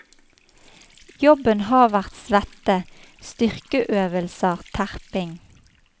Jobben har vært svette, styrkeøvelser, terping.